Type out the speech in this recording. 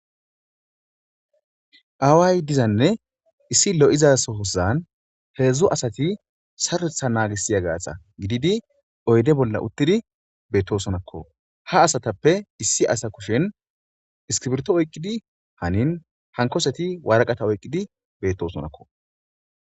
Aaway dizanne issi lo'izasoosan heedzdzu asati saetha naagisiya gaasa gididi oyde bolla uttidi beettosonakko ha asatappe issi asa kushen iskibirto oyqqidi hanin hankoseti waraqata oyqqidi beettosonakko.